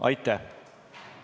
Aitäh!